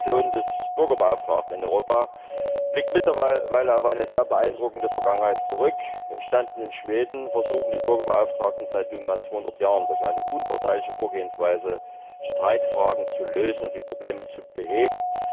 Die Institution des Bürgerbeauftragten in Europa blickt mittlerweile auf eine sehr beeindruckende Vergangenheit zurück. Entstanden in Schweden, versuchen die Bürgerbeauftragten seit nunmehr 200 Jahren, durch eine unparteiische Vorgehensweise Streitfragen zu lösen und Probleme zu beheben.